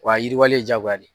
Wa a yiriwalen jaagoya de ye.